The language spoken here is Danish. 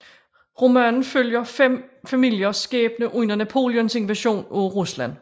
Romanen følger fem familiers skæbne under Napoleons invasion af Rusland